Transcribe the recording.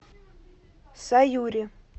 саюри